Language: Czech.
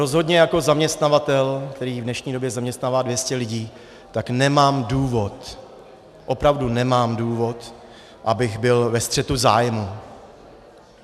Rozhodně jako zaměstnavatel, který v dnešní době zaměstnává 200 lidí, tak nemám důvod, opravdu nemám důvod, abych byl ve střetu zájmů.